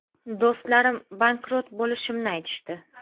Do‘stlarim bankrot bo‘lishimni aytishdi.